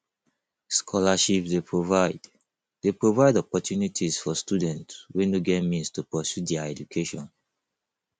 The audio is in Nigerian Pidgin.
scholarships dey provide dey provide opportunities for students wey no get means to pursue dia education